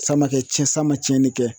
San ma ke cɛn san ma cɛnni kɛ